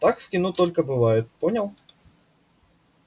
так в кино только бывает понял